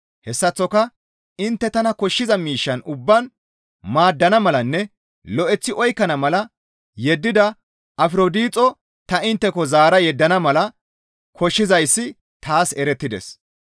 Hessaththoka intte tana koshshiza miishshan ubbaan maaddana malanne lo7eththi oykkana mala yeddida Afrodixo ta intteko zaara yeddana mala koshshizayssi taas erettides.